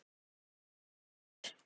Þinn Júlíus.